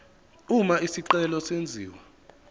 uma isicelo senziwa